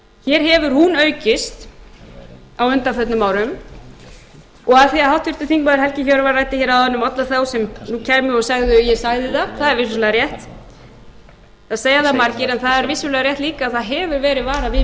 hér hefur hún aukist á undanförnum árum og af því að háttvirtur þingmaður helgi hjörvar ræddi hér áðan um alla þá sem nú kæmu og segði að ég sæi það það er vissulega rétt það segja það margir að það er vissulega rétt líka að það hefur verið varað við